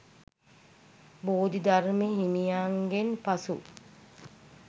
බෝධිධර්ම හිමියන්ගෙන් පසු